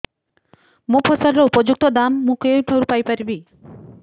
ମୋ ଫସଲର ଉପଯୁକ୍ତ ଦାମ୍ ମୁଁ କେଉଁଠାରୁ ପାଇ ପାରିବି